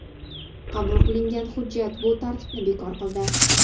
Qabul qilingan hujjat bu tartibni bekor qildi.